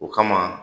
O kama